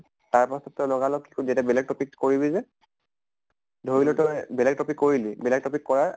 তাৰ পাছত তই লগা লগ কি এটা বেলেগ topic কৰিবি যে ধৰি লʼ তই বেলেগ topic কৰিলি। বেলেগ topic কৰাৰ